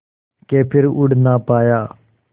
के फिर उड़ ना पाया